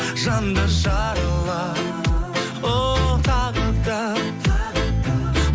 жанды жаралап оу тағы да тағы да